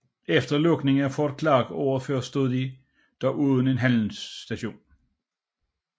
Efter lukningen af Fort Clark året før stod de dog uden en handelsstation